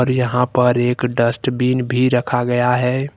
यहां पर एक डस्टबिन भी रखा गया है।